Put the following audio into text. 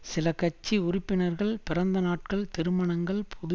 சில கட்சி உறுப்பினர்கள் பிறந்தநாட்கள் திருமணங்கள் புது